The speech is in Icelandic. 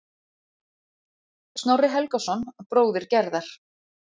Snorri Helgason, bróðir Gerðar.